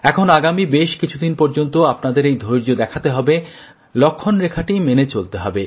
এখন আগামী বেশ কিছু দিন পর্যন্ত আপনাদের এই ধৈর্য দেখাতে হবে লক্ষণরেখাটি মেনে চলতে হবে